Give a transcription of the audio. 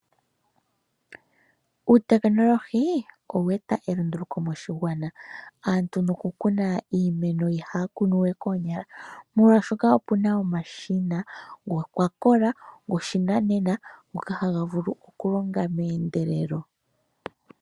Uutekinolohi owe eta elunduluko moshigwana, aantu no ku kuna iimeno ihaya kunu we koonyala molwaashoka opuna omashina gokwakola, goshinanena ngoka haga vulu okulonga meendelelo.